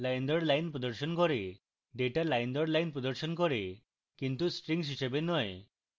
data line দর line প্রদর্শন করে কিন্তু strings হিসাবে নয়